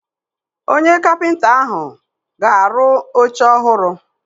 Onye kapịnta ahụ ga-arụ oche ọhụrụ.